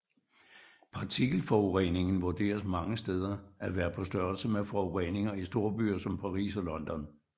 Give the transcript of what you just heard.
Partikelforureningen vurderes mange steder at være på størrelse med forureningen i storbyer som Paris og London